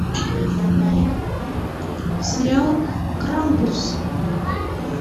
сериал крампус